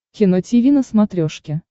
кино тиви на смотрешке